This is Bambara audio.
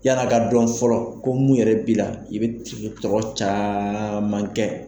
Yala ka dɔn fɔlɔ ko mun yɛrɛ bi la ,i be tɔrɔ caman kɛ.